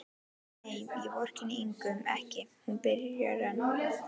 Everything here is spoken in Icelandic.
Nei, ég vorkenndi Ingu ekki, byrjar hún enn.